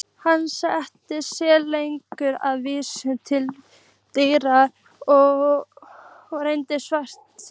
Hann lét sér nægja að vísa til dýpra rennslis vatnsins.